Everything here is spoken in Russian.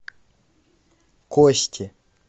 кости